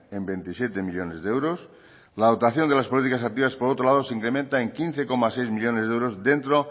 en veintisiete millónes de euros la dotación de las políticas activas por otro lado se incrementa en quince coma seis millónes de euros dentro